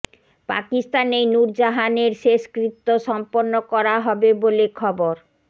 পাকিস্তানেই নূর জাহানের শেষকৃত্য সম্পন্ন করা হবে বলে খবর